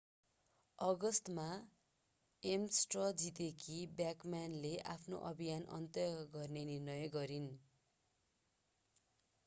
अगस्टमा एम्स स्ट्र जितेकी ब्याकम्यानले आफ्नो अभियान अन्त्य गर्ने निर्णय गरिन्